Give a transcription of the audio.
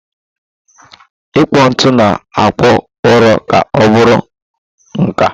Ikpụ ite na-akpụ ụrọ ka ọ bụrụ nka.